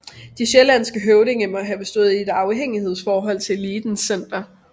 De sjællandske høvdinge må have stået i et afhængighedsforhold til elitens center